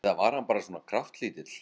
Eða var hann bara svona kraftlítill?